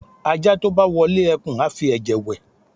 aja to bá wọle ekun, a fí eje wè